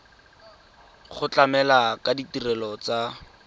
go tlamela ka ditirelo tsa